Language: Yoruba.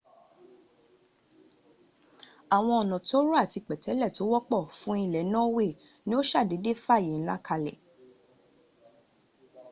àwọn ọ̀nà tóóró àti pẹ̀tẹ́lẹ̀ tó wọ́pọ̀ fún ilẹ̀ norway ni ó sàdédé fààyè ńlá kalẹ̀